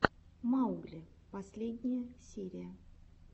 маугли последняя серия